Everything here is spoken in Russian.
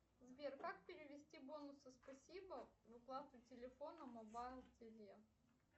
сбер как перевести бонусы спасибо в оплату телефона мобайл тв